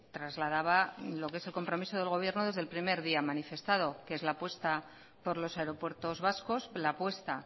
trasladaba lo que es el compromiso del gobierno desde el primer día manifestado que es la apuesta por los aeropuertos vascos la apuesta